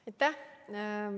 Aitäh!